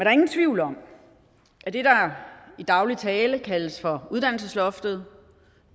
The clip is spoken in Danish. er ingen tvivl om at det der i daglig tale kaldes for uddannelsesloftet